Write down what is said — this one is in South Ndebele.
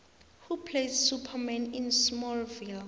who plays superman in smallvile